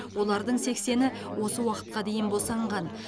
олардың сексені осы уақытқа дейін босанған